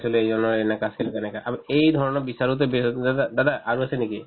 চাইছিলো এনেকা আছিল তেনেকা আৰু এই ধৰণৰ বিচাৰোতে বিচাৰোতে দাদা দাদা আৰু আছে নেকি ?